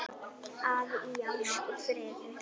að í ást og friði